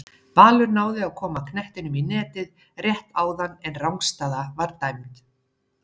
Valur náði að koma knettinum í netið rétt áðan en rangstaða var dæmd.